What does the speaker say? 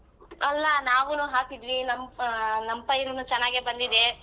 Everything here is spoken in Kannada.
ಅಲ್ಲಾ ನಾವುನು ಹಾಕಿದ್ವಿ ನಮ್ ಆ ನಮ್ ಪೈರುನು ಚೆನ್ನಾಗೆ ಬಂದಿದೇ.